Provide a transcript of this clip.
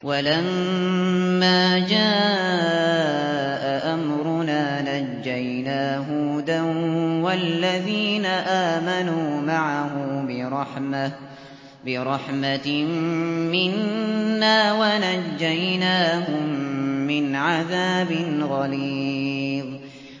وَلَمَّا جَاءَ أَمْرُنَا نَجَّيْنَا هُودًا وَالَّذِينَ آمَنُوا مَعَهُ بِرَحْمَةٍ مِّنَّا وَنَجَّيْنَاهُم مِّنْ عَذَابٍ غَلِيظٍ